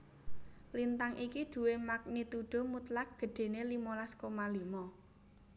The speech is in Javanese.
Lintang iki duwé magnitudo mutlak gedhéné limolas koma limo